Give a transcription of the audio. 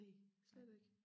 Næ slet ikke